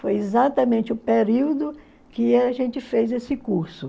Foi exatamente o período que a gente fez esse curso.